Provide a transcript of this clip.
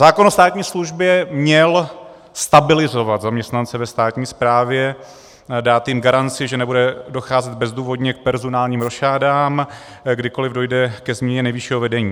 Zákon o státní službě měl stabilizovat zaměstnance ve státní správě, dát jim garanci, že nebude docházet bezdůvodně k personálním rošádám, kdykoliv dojde ke změně nejvyššího vedení.